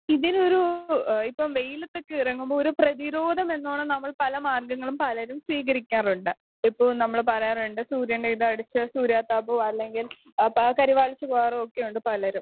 speaker 2 ഇതിനൊരു എഹ് ഇപ്പൊ വെയിലത്തക്കെ ഇറങ്ങുമ്പോ ഒരു പ്രേധിരോധം എന്ന് വേണം നമ്മൾ പല മാർഗങ്ങളും പലരും സ്വീകരിക്കാറുണ്ട് ഇപ്പോൾ നമ്മൾ പറയാറ്ണ്ട് സൂര്യൻറെ ഇത് അടിച്ച് സൂര്യാതാപോം അല്ലെങ്കിൽ അപ്പൊ ആള്ക്കാര് മരിച്ച് പോവറൊക്കെയിണ്ട് പലരും